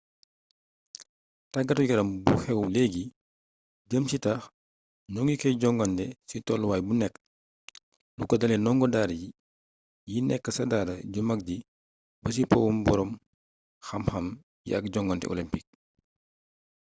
tàggatu yaram bu xew leegi jëm ci taax ñoŋi koy jogante ci toluwaay bu nekk lu ko dalee nongo daara yi nekk ca daara ju mag ji ba ci powum boroom xam xam yi ak jongante olempiik